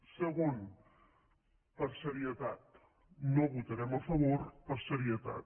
segon per serietat no votarem a favor per serietat